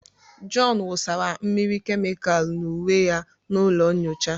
John wụsara mmiri kemịkalu n'uwe ya n'ụlọ nyocha.